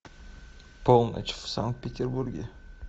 полночь в санкт петербурге